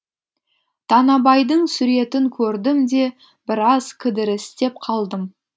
танабайдың суретін көрдім де біраз кідірістеп қалдым